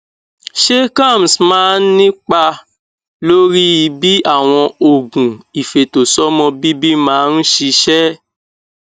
ṣé kalms máa nípa lórí bí àwọn oògùn ifeto somo bibi máa ń ṣiṣẹ